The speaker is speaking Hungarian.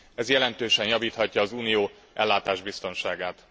Ez jelentősen javíthatja az Unió ellátásbiztonságát.